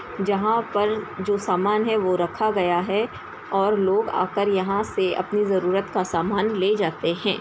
जहां पर जो सामान है वो रखा गया है और लोग आकर यहां से अपनी जरूरत का सामान ले जाते हैं ।